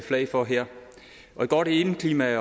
slag for her et godt indeklima